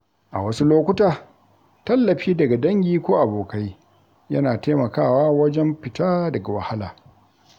A wasu lokuta, tallafi daga dangi ko abokai yana taimakawa wajen fita daga wahala.